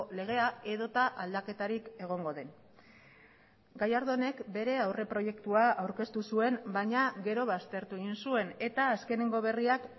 legea edota aldaketarik egongo den gallardónek bere aurreproiektua aurkeztu zuen baina gero baztertu egin zuen eta azkeneko berriak